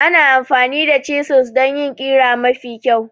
Ana amfani da chisels don yin ƙira mafi kyau.